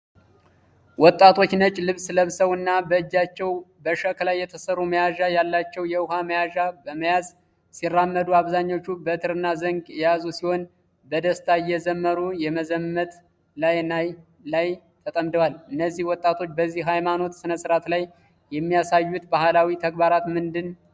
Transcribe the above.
ወጣቶች ነጭ ልብስ ለብሰው እና በእጃቸው በሸክላ የተሰሩ መያዣ ያላቸው የውሃ መያዣ በመያዝ ሲራመዱ አብዛኞቹ በትርና ዘንግ የያዙ ሲሆን በደስታ እየዘመሩ የመዘመት ስራ ላይ ተጠምደዋል። እነዚህ ወጣቶች በዚህ የሃይማኖት ስነስርዓት ላይ የሚያሳዩት ባህላዊ ተግባራት ምንድን ናቸው?